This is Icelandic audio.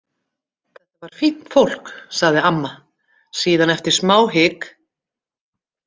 Þetta var fínt fólk, sagði amma síðan eftir smá hik.